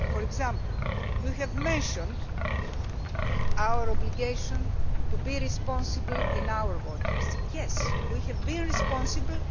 For example, you have mentioned our obligation to be responsible in our waters. Well, we have been responsible.